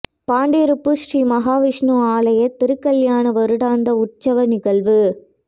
பாண்டிருப்பு ஸ்ரீ மகா விஷ்ணு ஆலய திருக்கல்யாண வருடாந்த உற்சவ நிகழ்வு